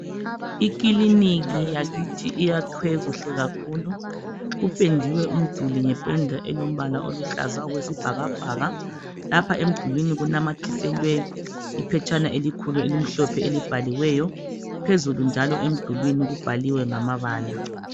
Ikiliniki yakithi uyakhwe kuhle kakhulu kupendiwe umduli ngependa elombala oluhlaza okwesibhakabhaka lapha emdulwini kunamathiselwe iphetshana elimhlophe elibhaliweyo phezulu njalo emdulwini kubhaliwe ngamabala